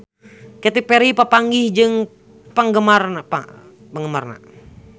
Katy Perry papanggih jeung penggemarna